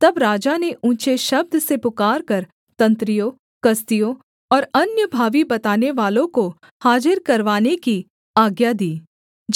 तब राजा ने ऊँचे शब्द से पुकारकर तंत्रियों कसदियों और अन्य भावी बतानेवालों को हाजिर करवाने की आज्ञा दी